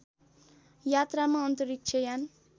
यात्रामा अन्तरिक्ष यान